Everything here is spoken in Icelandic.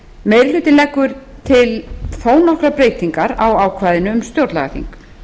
meiri hlutinn leggur til þó nokkrar breytingar á ákvæðinu um stjórnlagaþing